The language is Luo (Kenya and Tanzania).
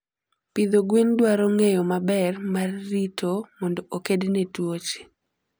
pidho gwen dwaro ngeyo maber mar rito mondo okedne tuoche